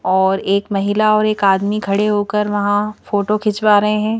और एक महिला और एक आदमी खड़े होकर वहां फोटो खिंचवा रहे हैं।